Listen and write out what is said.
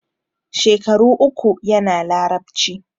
Shekaru uku yana Larabci.